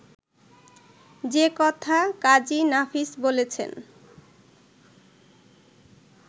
যে কথা কাজী নাফিস বলেছেন